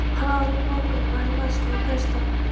Hann át morgunverð í matstofu presta.